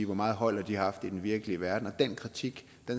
hvor meget hold har de haft i den virkelige verden den kritik